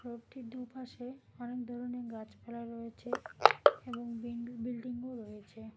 রোডটির দুপাশে অনেক ধরনের গাছপালা রয়েছে এবং বিন বিল্ডিংও রয়েছে।